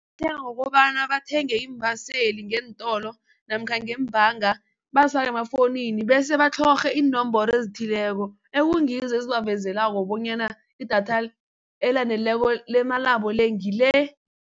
Bathenga ngokobana bathenge iimbaseli ngeentolo namkha ngembanga bazifake emafowunini bese batlhorhe iinomboro ezithileko ekungizo ezibavezelako bonyana idatha elaneleko lemalabo le ngile.